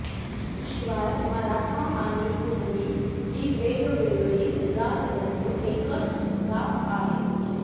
शिवाय मराठा आणि कुणबी ही वेगवेगळी जात नसून एकच जात आहे